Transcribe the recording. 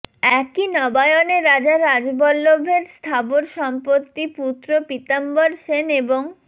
একই নবায়নে রাজা রাজবল্লভের স্থাবর সম্পত্তি পুত্র পিতাম্বর সেন এবং